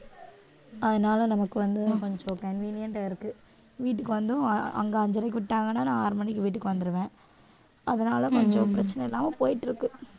அதனால நமக்கு வந்து கொஞ்சம் convenient ஆ இருக்கு, வீட்டுக்கு வந்தும் அங்க அஞ்சரைக்கு விட்டாங்கன்னா நான் ஆறு மணிக்கு வீட்டுக்கு வந்துருவேன் அதனால கொஞ்சம் பிரச்சனை இல்லாம போயிட்டு இருக்கு